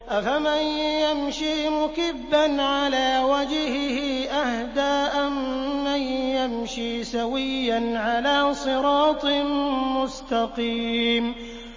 أَفَمَن يَمْشِي مُكِبًّا عَلَىٰ وَجْهِهِ أَهْدَىٰ أَمَّن يَمْشِي سَوِيًّا عَلَىٰ صِرَاطٍ مُّسْتَقِيمٍ